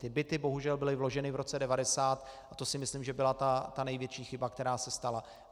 Ty byty bohužel byly vloženy v roce 1990 a to si myslím, že byla ta největší chyba, která se stala.